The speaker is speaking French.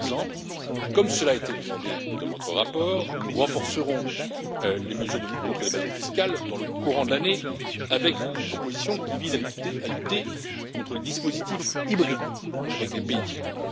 Par exemple, comme cela a été demandé dans votre rapport, nous renforcerons les mesures de lutte contre l'évasion fiscale dans le courant de l'année, avec une proposition qui vise à lutter contre les dispositifs hybrides avec des pays tiers.